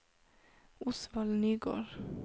Osvald Nygård